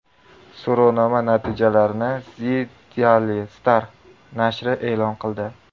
So‘rovnoma natijalarini The Daily Star nashri e’lon qildi .